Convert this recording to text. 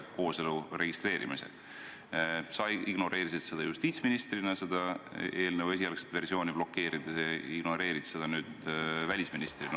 Sa ignoreerisid seda justiitsministrina, seda eelnõu esialgset versiooni blokeerides, ja ignoreerid seda nüüd välisministrina.